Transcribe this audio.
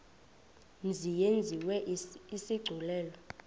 mzi yenziwe isigculelo